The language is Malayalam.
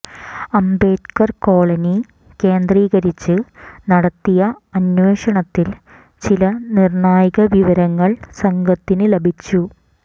അംബേദ്കർ കോളനി കേന്ദ്രീകരിച്ച് നടത്തിയ അന്വേഷണത്തിൽ ചില നിർണായക വിവരങ്ങൾ സംഘത്തിന് ലഭിച്ചു